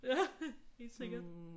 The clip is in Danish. Ja! Helt sikkert